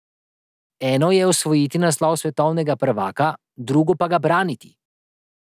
Eno je osvojiti naslov svetovnega prvaka, drugo pa ga braniti.